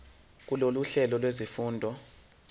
kulolu hlelo lwezifundo